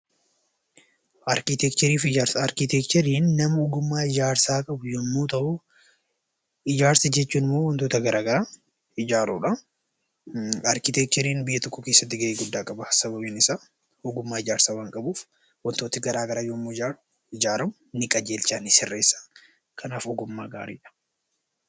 Arkitekcherii fi ijaarsa Arkitekcheriin nama ogummaa ijaarsaa qabu yommuu ta'u, ijaarsa jechuun immoo wantoota garaagaraa ijaaruu dha. Arkitekcheriin biyya tokko keessatti gahee guddaa qaba. Sababiin isaa, ogummaa ijaarsaa waan qabuuf wantooti garaagaraa yoo ijaaramu ni qajeelcha, ni sirreessa. Kanaafuu, ogummaa gaarii dha.